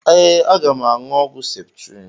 Ee, aga m aṅụ ọgwụ septrịn